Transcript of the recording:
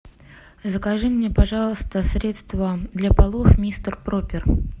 закажи мне пожалуйста средство для полов мистер пропер